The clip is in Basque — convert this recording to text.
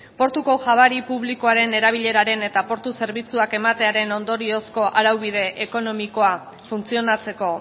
portuko jabari publikoaren erabileraren eta portu zerbitzuak ematearen ondoriozko araubide ekonomikoa funtzionatzeko